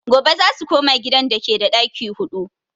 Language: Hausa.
Gobe zasu koma gidan dake da ɗaki huɗu